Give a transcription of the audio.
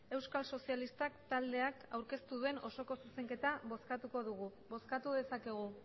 euskal sozialistak taldeak aurkeztu duen osoko zuzenketa bozkatuko dugu bozkatu dezakegu